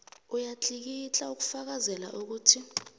uyatlikitla ukufakazela ukuthi